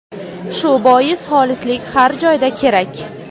Shu bois xolislik har joyda kerak.